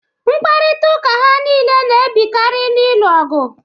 Mkparịtaụka ha niile na-ebikari n'ilu ọgụ.